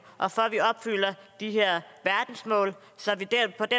og for at vi opfylder de her verdensmål så vi